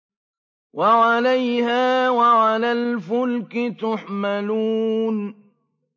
وَعَلَيْهَا وَعَلَى الْفُلْكِ تُحْمَلُونَ